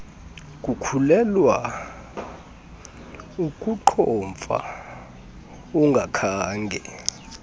kukhulelwa ukuqhomfa ungakhange